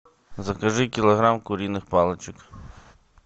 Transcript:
закажи килограмм куриных палочек